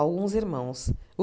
alguns irmãos.